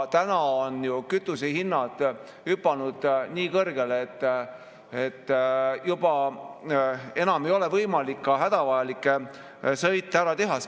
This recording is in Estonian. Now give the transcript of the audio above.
Praegu on ju kütusehinnad hüpanud nii kõrgele, et juba ei olegi võimalik hädavajalikke sõite ära teha.